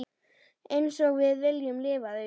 Einsog við viljum lifa því.